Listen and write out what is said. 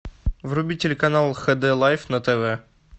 вруби телеканал хд лайф на тв